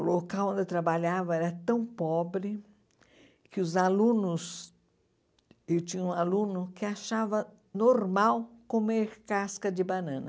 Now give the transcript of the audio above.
O local onde eu trabalhava era tão pobre que os alunos... Eu tinha um aluno que achava normal comer casca de banana.